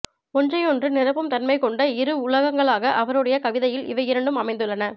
ஒன்றையொன்று நிரப்பும் தன்மை கொண்ட இரு உலகங்களாக அவருடைய கவிதையில் இவை இரண்டும் அமைந்துள்ளன